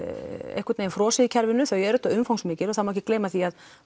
einhvern veginn frosið í kerfinu þau eru auðvitað umfangsmikil og það má ekki gleyma því að